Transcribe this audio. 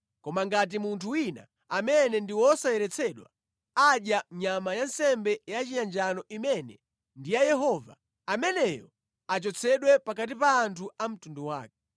Koma ngati munthu wina amene ndi wosayeretsedwa adya nyama ya nsembe yachiyanjano imene ndi ya Yehova, ameneyo achotsedwe pakati pa anthu a mtundu wake.